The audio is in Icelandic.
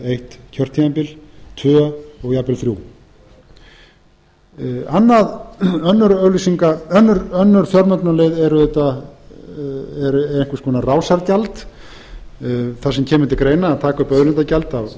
eitt kjörtímabil tvö og jafnvel þrjú önnur fjármögnunarleið er einhvers konar rásargjald þar sem kemur til greina að taka upp auðlindagjald af